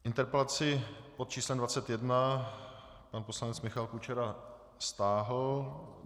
Interpelaci pod číslem 21 pan poslanec Michal Kučera stáhl.